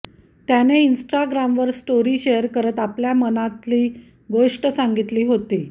त्याने इन्स्टाग्रामवर story share करत आपल्या मनातली गोष्ट सांगितली होती